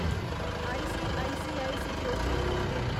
ICICI securities limited